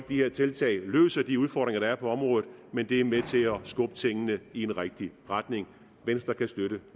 de her tiltag løser de udfordringer der er på området men de er med til at skubbe tingene i den rigtige retning venstre kan støtte